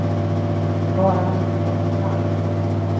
Bara han inte var för kall. punkt